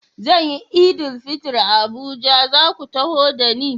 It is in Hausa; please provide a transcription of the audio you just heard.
Zan yi Eid-el-Fitr a Abuja, za ku taho da ni?